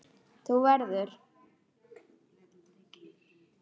Þú verður.